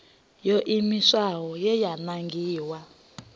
yo iimisaho ye ya nangiwa